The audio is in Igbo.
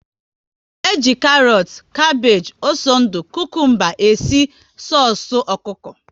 E ji karọt, kapage, ose ndụ, kukumba e si soosu ọkụkọ